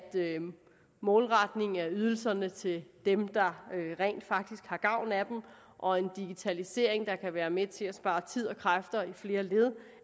målretning af ydelserne til dem der rent faktisk har gavn af dem og en digitalisering der kan være med til at spare tid og kræfter i flere led